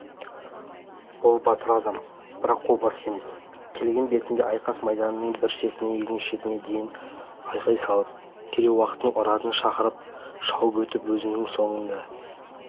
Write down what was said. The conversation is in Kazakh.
ол батыр адам бірақ қолбасы емес келген бетінде айқас майданының бір шетінен екінші шетіне дейін айғай салып керей-уақтың ұранын шақырып шауып өтіп өзінің осында